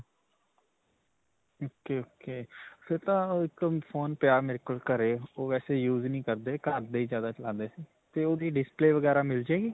ok ok. ਫਿਰ ਤਾਂ ਅਅ ਇੱਕ phone ਪਿਆ ਮੇਰੇ ਕੋਲ ਘਰੇ. ਓਹ ਵੈਸੇ use ਨਹੀਂ ਕਰਦੇ. ਘਰ ਦੇ ਹੀ ਜਿਆਦਾ ਚਲਾਉਂਦੇ 'ਤੇ ਓਹਦੀ display ਵਗੈਰਾ ਮਿਲ ਜਾਵੇਗੀ?